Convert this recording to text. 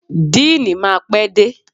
Deanii máa pé dé.